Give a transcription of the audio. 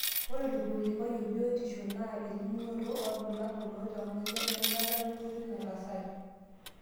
Ore olkilikuai e biotisho naa elimunoto oolbulabul loltamoyiai wenkata wenkoitoi nataasate.